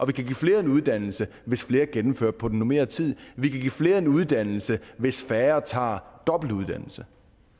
vi kan give flere en uddannelse hvis flere gennemfører på normeret tid vi kan give flere en uddannelse hvis færre tager dobbeltuddannelse